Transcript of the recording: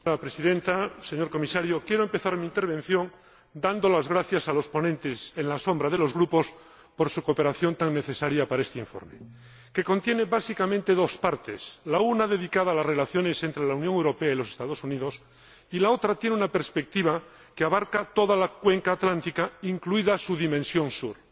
Señora Presidenta, señor Comisario, quiero empezar mi intervención dando las gracias a los ponentes alternativos de los grupos por su cooperación tan necesaria para este informe, que contiene básicamente dos partes una dedicada a las relaciones entre la Unión Europea y los Estados Unidos y otra con una perspectiva que abarca toda la cuenca atlántica, incluida su dimensión Sur.